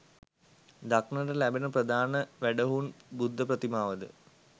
දක්නට ලැබෙන ප්‍රධාන වැඩහුන් බුද්ධ ප්‍රතිමාව ද